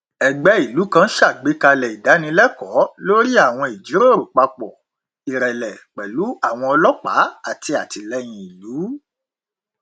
ẹgbẹ ìlú kan ṣàgbékalẹ ìdánilẹkọọ lórí àwọn ìjíròrò papọ ìrẹlẹ pẹlú àwọn ọlọpàá àti àtìlẹyìn ìlú